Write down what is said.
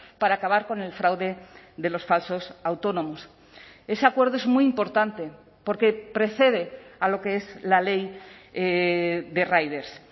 para acabar con el fraude de los falsos autónomos ese acuerdo es muy importante porque precede a lo que es la ley de riders